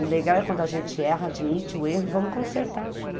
O legal é quando a gente erra, admite o erro e vamos consertar junto.